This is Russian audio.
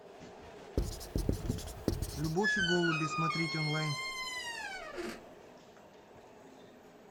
любовь и голуби смотреть онлайн